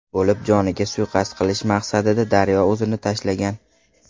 bo‘lib, joniga suiqasd qilish maqsadida daryoga o‘zini tashlagan.